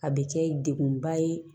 A bɛ kɛ dekunba ye